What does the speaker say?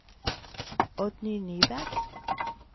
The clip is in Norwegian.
Oddny Nyberg